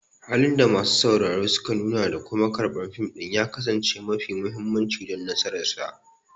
Halin da masu sauraro suka nuna da kuma karɓar fim ɗin ya kasance mafi mahimmanci don nasararsa.